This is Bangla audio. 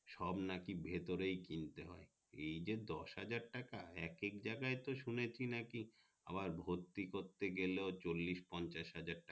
সব নাকি ভেতরেই কিনতে হয় এই দশ হাজার টাকা এক এক জাগায় তো শুনেছি নাকি আবার ভর্তি করতে গেলেও চল্লিশ পঞ্চাশ হাজার টাকা